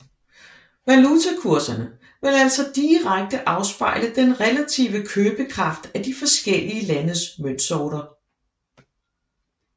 Valutakurserne vil altså direkte afspejle den relative købekraft af de forskellige landes møntsorter